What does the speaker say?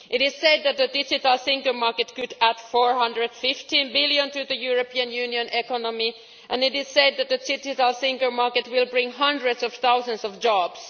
It is said that the Digital Single Market could add EUR 415 billion to the European Union economy, and it is said that the Digital Single Market will bring hundreds of thousands of jobs.